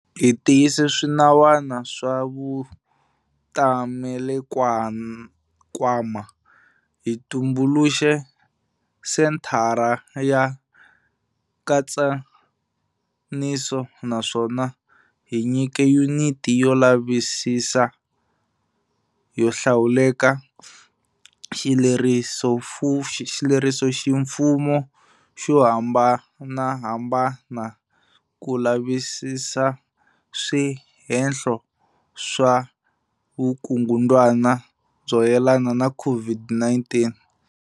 Hi tiyise swinawana swa Vutamelankwama, hi tumbuluxe Senthara ya Nkatsaniso naswona hi nyike Yuniti yo Lavisisa yo Hlawuleka xilerisoximfumo xo hambanahambana ku lavisisa swihehlo swa vukungundzwana byo yelana na COVID-19.